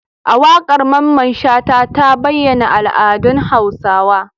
Waƙar Mamman shata ta bayyana al'adun hausawa